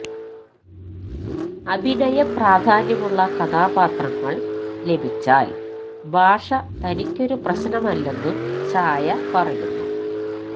അഭിനയ പ്രാധാന്യമുള്ള കഥാപാത്രങ്ങള് ലഭിച്ചാല് ഭാഷ തനിക്കൊരു പ്രശ്നമല്ലെന്നും ഛായ പറയുന്നു